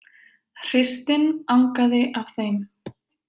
Hreystin angaði af þeim.